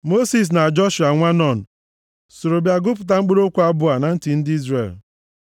Mosis na Joshua + 32:44 Joshua Hosea bụ ụzọ ọzọ e si akpọ aha a nwa Nun soro bịa gụpụta mkpụrụ okwu abụ a na ntị ndị Izrel.